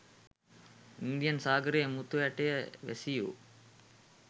Indian සාගරයේ මුතු ඇටයේ වැසියෝ